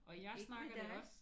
Ikke med dig?